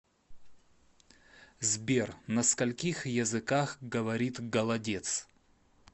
сбер на скольких языках говорит голодец